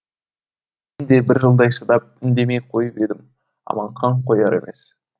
де бір жылдай шыдап үндемей қойып едім аманхан қояр емес